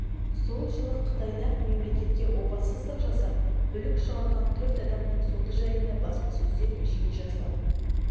сол жылы қытайда мемлекетке опасыздық жасап бүлік шығарған төрт адамның соты жайында баспасөзде жиі жазылатын